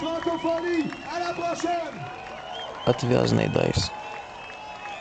отвязный дайс